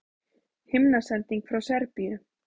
Himnasending frá Serbíu